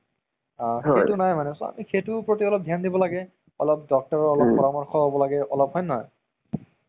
horror movies কেইটা তাৰ পাছত swag হেৰি আছে তিনি টা hunter movies বিলাক এইকেইটা